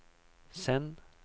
send